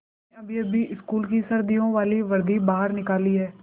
हमने अभीअभी स्कूल की सर्दियों वाली वर्दी बाहर निकाली है